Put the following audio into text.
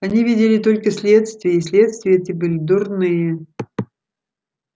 они видели только следствия и следствия эти были дурные